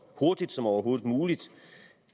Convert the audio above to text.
hurtigt som overhovedet muligt